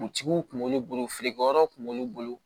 kun b'olu bolo feerekɛyɔrɔw kun b'olu bolo